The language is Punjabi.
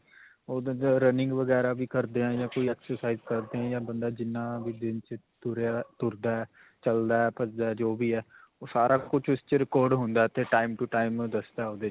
ਓਹਦੇ 'ਚ running ਵਗੈਰਾ ਵੀ ਕਰਦੇ ਹਾਂ, ਜਾ ਕੋਈ exercise ਕਰਦੇ ਹਾਂ, ਜਾਂ ਬੰਦਾ ਜਿੰਨਾ ਵੀ ਦਿਨ 'ਚ ਤੁਰਿਆ ਤੁਰਦਾ ਹੈ, ਚਲਦਾ ਹੈ, ਭਜਦਾ ਹੈ ਜੋ ਵੀ ਹੈ ਓਹ ਸਾਰਾ ਕੁੱਝ ਓਸ 'ਚ record ਹੁੰਦਾ 'ਤੇ ਟਾਇਮ 'ਤੋ ਟਾਇਮ ਦਸਦਾ ਓਹਦੇ 'ਚ.